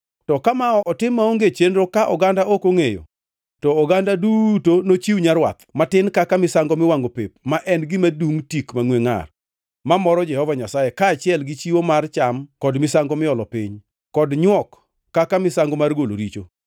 to ka ma otim maonge chenro ka oganda ok ongʼeyo, to oganda duto nochiw nyarwath matin kaka misango miwangʼo pep ma en gima dungʼ tik mangʼwe ngʼar mamoro Jehova Nyasaye, kaachiel gi chiwo mar cham kod misango miolo piny, kod nywok kaka misango mar golo richo.